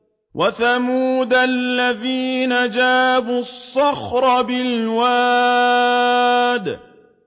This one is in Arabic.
وَثَمُودَ الَّذِينَ جَابُوا الصَّخْرَ بِالْوَادِ